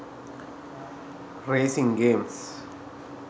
racing games